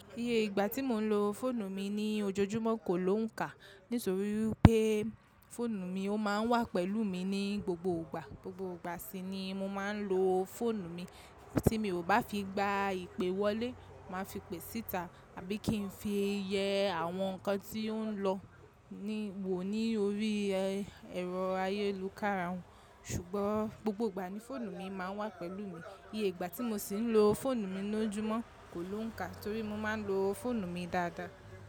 Iye ìgbà tí mò ń lo fóònù mi ní ojojúmọ́ kò lóùn kà nítorí wipé fóònù mi ó máa ń wà pẹ̀lú mi ní gbogbo ìgbà. Gbogbo ìgbà sí ni mò ma ń lo fóònù mi tí mi ò bá fi gba ìpè wọlé màá fi pè síta àbí kí n fi yẹ àwọn nǹkan tí ó ń lọ ni wò ní orí ẹ̀rọ ayélukára. Ṣùgbọ́n gbogbo ìgbà ni fóònù mi máa ń wà pẹ̀lú mi. Iye ìgbà tí mò sì ń lo fóònù mi lójúmọ́ kò lóùn kà torí mo máa ń lo fóònù mi dáadáa.